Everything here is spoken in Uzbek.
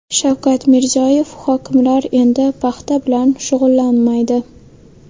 Shavkat Mirziyoyev: Hokimlar endi paxta bilan shug‘ullanmaydi.